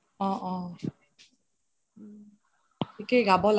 অহ অহ থিকেই গাব লাগে